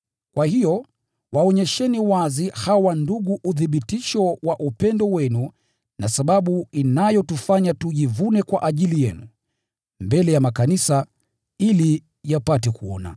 Kwa hiyo waonyesheni wazi hawa ndugu uthibitisho wa upendo wenu na sababu inayotufanya tujivune kwa ajili yenu, mbele ya makanisa, ili yapate kuona.